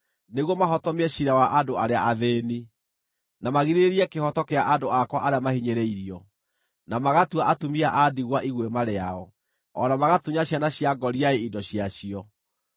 nĩguo mahotomie ciira wa andũ arĩa athĩĩni, na magirĩrĩrie kĩhooto kĩa andũ akwa arĩa mahinyĩrĩirio, na magatua atumia a ndigwa iguĩma rĩao, o na magatunya ciana cia ngoriai indo ciacio.